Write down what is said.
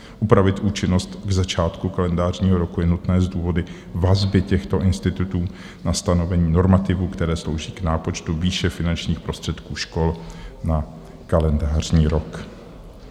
Upravit účinnost k začátku kalendářního roku je nutné z důvodu vazby těchto institutů na stanovení normativů, které slouží k nápočtu výše finančních prostředků škol na kalendářní rok.